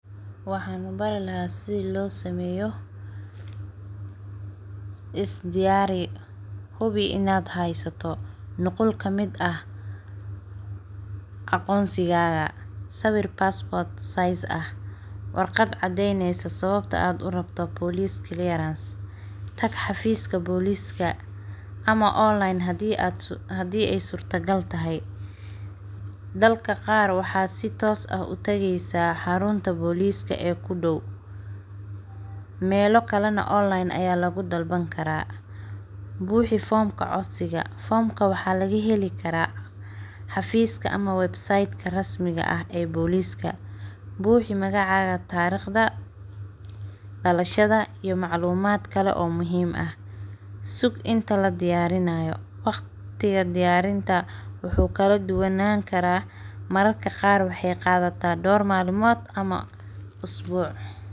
Waxaan Bari lahaa sida loo sameeyo is diyaari hubi inaan haysato aqoonsiga warqad cadeyneyso sababta aad rabto waxaad tageysa xarunta booliska ama online kabuxso buuxi foomka buuxi tariqda dalashada sug inta la diyaarinaayo mararka qaar waxeey qadata isbuuc ama door malmood.